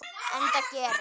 Enda gerir